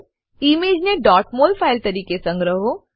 ઈમેજને mol file તરીકે સંગ્રહો